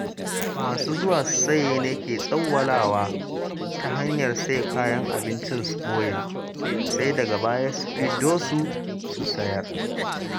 Masu zuwa su saya ne ke tsawwalawa ta hanyar saye kayan abinci su ɓoye, sai daga baya su fiddo su sayar.